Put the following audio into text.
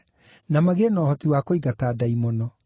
na magĩe na ũhoti wa kũingata ndaimono.